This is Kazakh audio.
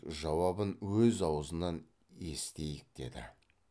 жауабын өз аузынан есітейік деді